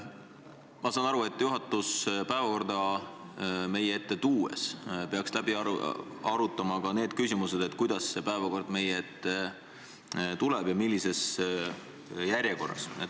Ma saan aru, et juhatus peaks enne päevakorra meie ette toomist läbi arutama ka need küsimused, kuidas ja millises järjekorras see päevakord meie ette tuleb.